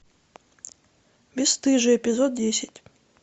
бесстыжие эпизод десять